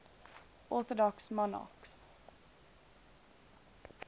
orthodox monarchs